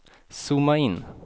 zooma in